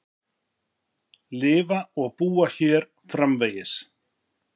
Lifa og búa hér framvegis.